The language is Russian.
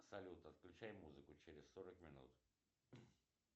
салют отключай музыку через сорок минут